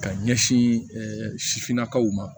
Ka ɲɛsin sifinnakaw ma